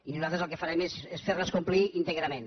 i nosaltres el que farem és fer les complir íntegrament